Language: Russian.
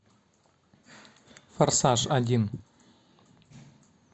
форсаж один